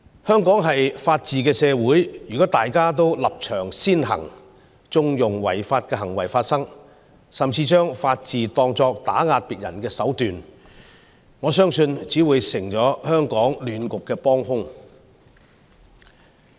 香港是法治社會，如果大家都立場先行，縱容違法行為發生，甚至將法治當作打壓別人的手段，我相信只會成為香港亂局的幫兇。